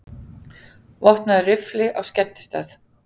Vopnaður riffli á skemmtistað